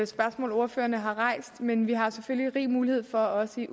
spørgsmål ordførerne har rejst men vi har selvfølgelig rig mulighed for også i